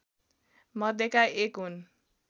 मध्येका एक हुन्